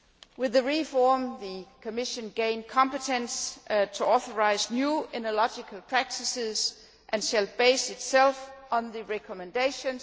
With the reform, the Commission gained competence to authorise new oenological practices and shall base itself on the OIV's recommendations.